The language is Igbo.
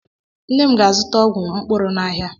Nne m ga-azuta ọgwụ mkpụrụ n'ahia